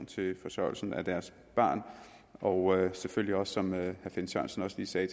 til forsørgelsen af deres barn og selvfølgelig også som herre finn sørensen også lige sagde